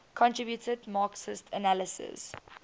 contributed marxist analyses